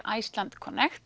Iceland